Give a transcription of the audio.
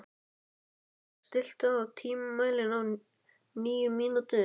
Þórmar, stilltu tímamælinn á níu mínútur.